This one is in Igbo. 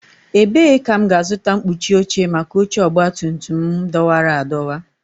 Ebee ka m ga-azụta mkpuchi oche maka oche ọgbatumtum m dọwara adọwa?